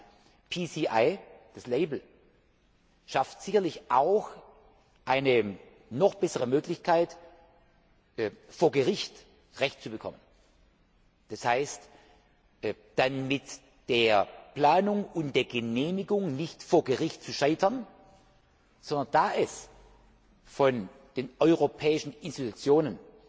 Zweitens PCI, das Label, schafft sicherlich auch eine noch bessere Möglichkeit, vor Gericht Recht zu bekommen. Das heißt, wir werden dann mit der Planung und Genehmigung nicht vor Gericht scheitern, sondern da sie von den europäischen Institutionen